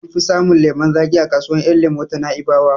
An fi samun lemon zaƙi a kasuwar yan lemo ta Na'ibawa